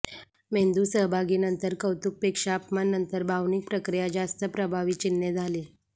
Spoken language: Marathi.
मेंदू सहभागी नंतर कौतुक पेक्षा अपमान नंतर भावनिक प्रक्रिया जास्त प्रभावी चिन्हे झाली